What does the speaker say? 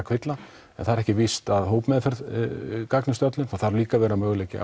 kvilla en það er ekki víst að hópmeðferð gagnist öllum það þarf líka að vera möguleiki